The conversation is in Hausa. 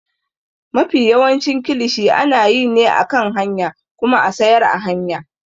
Mafi yawancin kilishi ana yi ne a kan hanya kuma a siyar a hanya.